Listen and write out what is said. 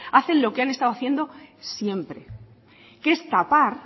hacen lo que han estado haciendo siempre que es tapar